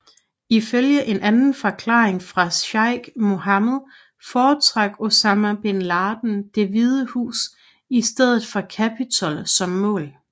Ifølge en anden forklaring fra Sheikh Mohammed foretrak Osama bin Laden Det Hvide Hus i stedet for Capitol som mål